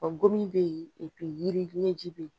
gomin be yen yiri ɲɛji be yen.